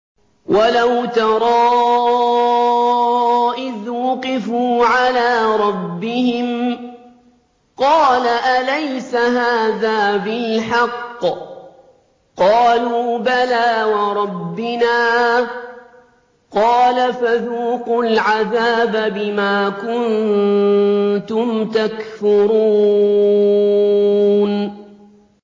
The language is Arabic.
وَلَوْ تَرَىٰ إِذْ وُقِفُوا عَلَىٰ رَبِّهِمْ ۚ قَالَ أَلَيْسَ هَٰذَا بِالْحَقِّ ۚ قَالُوا بَلَىٰ وَرَبِّنَا ۚ قَالَ فَذُوقُوا الْعَذَابَ بِمَا كُنتُمْ تَكْفُرُونَ